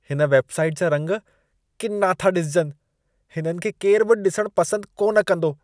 हिन वेबसाइट जा रंग किना था ॾिसिजनि। इन्हनि खे केरु बि ॾिसण पसंद कोन कंदो।